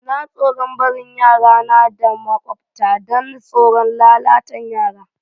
N'na tsoron barin yara na da maƙwabcta dan tsoron lalatan yara.